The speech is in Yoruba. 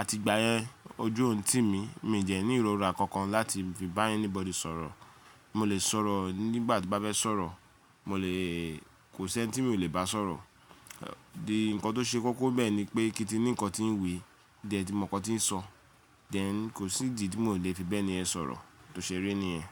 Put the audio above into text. àti ìgbáyẹn ojú ò n tì mí, mi jẹ ní ìrora kankan láti fi bá anybody sọ̀rọ̀. Mo lè sọ̀rọ̀ nígbà tí bá bẹ sọ̀rọ̀, mo lèèè, kò sí ẹni tí mi ò lè bá sọ̀rọ̀. Òdi nǹkan tó ṣe koko bẹ́ẹ̀ ni pé kí tí ní nǹkan tí n wí, di ẹ ti mọ nǹkan tí n sọ, then kò sí ìdí tí mo le fi bẹ́ẹ̀ni ẹ sọ̀rọ̀, tó ṣe eré ni ẹ.